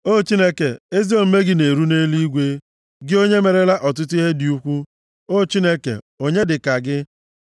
O Chineke, ezi omume gị na-eru nʼeluigwe, gị onye merela ọtụtụ ihe dị ukwu. O Chineke, onye dị ka gị?